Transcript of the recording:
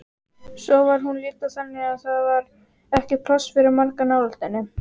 Svo var hún líka þannig að það var ekki pláss fyrir marga nálægt henni.